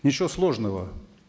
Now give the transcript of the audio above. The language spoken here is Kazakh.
ничего сложного